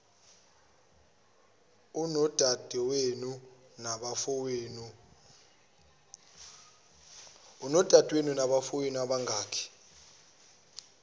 unodadewenu nabafowenu abangaki